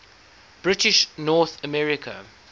british north america